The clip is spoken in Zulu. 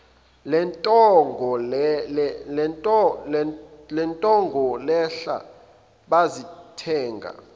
lentengo lehla bazothenga